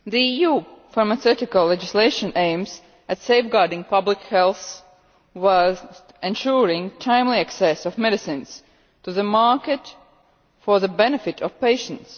EU pharmaceutical legislation aims at safeguarding public health whilst ensuring timely access of medicines to the market for the benefit of patients.